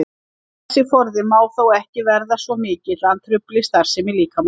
Þessi forði má þó ekki verða svo mikill að hann trufli starfsemi líkamans.